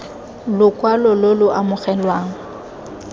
stke lokwalo lo lo amogelwang